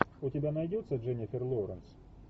у тебя найдется дженнифер лоуренс